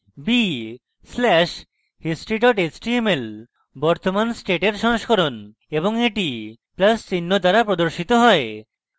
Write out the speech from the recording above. b slash history html বর্তমান স্টেটের সংস্করণ এবং এটি plus চিহ্ন দ্বারা প্রদর্শিত হয়